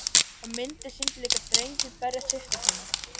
Og myndin sýndi líka drenginn berja systur sína.